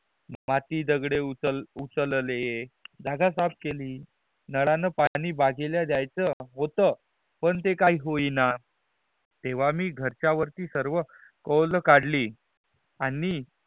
माटी दगड़े उचलले जागा साफ केली नल्याण पाणी बागिला द्याच होत पण ते काही होइण न तेवा मी घरच्या वरती सर्व कॉल काडली आणि